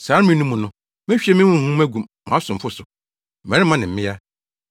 Saa mmere no mu no, mehwie me Honhom agu mʼasomfo so, mmarima ne mmea.